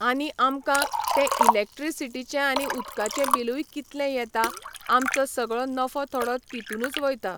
आनी आमकां तें इलेक्ट्रिसिटीचें आनी उदकाचें बिलूय कितलें येता, आमचो सगळो नफो थोडो तितूनच वयता